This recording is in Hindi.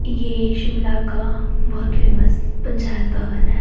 ये शिमला का बहोत फेमस पंचायत भवन है।